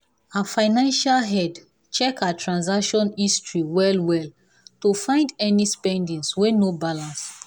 her financial head check her transaction history well well to find any spending wey no balance.